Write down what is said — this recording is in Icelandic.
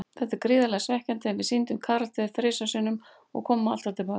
Þetta er gríðarlega svekkjandi, en við sýndum karakter þrisvar sinnum og komum alltaf til baka.